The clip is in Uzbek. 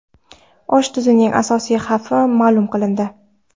Osh tuzning asosiy xavfi ma’lum qilindi.